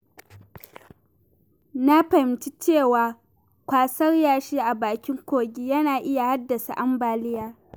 Na fahimci cewa kwasar yashi a bakin kogi yana iya haddasa ambaliya.